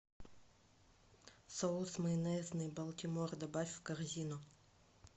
соус майонезный балтимор добавь в корзину